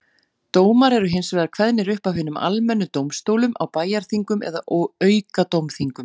Dómar eru hins vegar kveðnir upp af hinum almennu dómstólum á bæjarþingum eða aukadómþingum.